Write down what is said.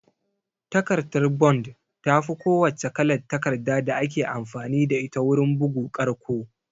Takardar bond tafi ko wacce kalar takarda da ake amfani da ita wurin bugu ƙarƙo